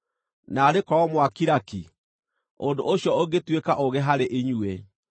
Naarĩ korwo mwakira ki! Ũndũ ũcio ũngĩtuĩka ũũgĩ harĩ inyuĩ.